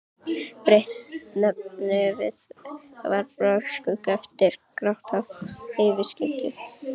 Breitt nefið varpaði skugga yfir gráhvítt yfirvaraskeggið.